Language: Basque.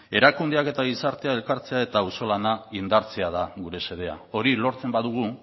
erakundeak eta gizartea elkartzea eta auzolana indartzea da gure xedea hori lortzen badugu